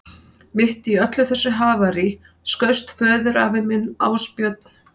Mitt í öllu þessu havaríi skaust föðurafi minn, Ásbjörn